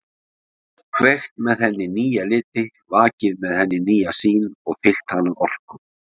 Kveikt með henni nýja liti, vakið með henni nýja sýn og fyllt hana orku.